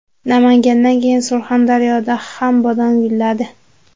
Namangandan keyin Surxondaryoda ham bodom gulladi .